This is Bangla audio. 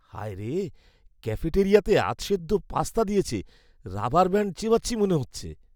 হায় রে, ক্যাফেটেরিয়াতে আধসেদ্ধ পাস্তা দিয়েছে। রাবার ব্যাণ্ড চেবাচ্ছি মনে হচ্ছে।